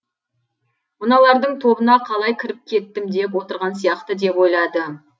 мыналардың тобына қалай кіріп кеттім деп отырған сияқты деп ойлады